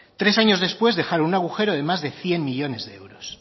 tres años después dejaron un agujero de más de cien millónes de euros